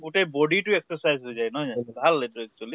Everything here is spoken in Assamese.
গোটেই body টো exercise হৈ যায় নহয় জানো ভাল এইটো actually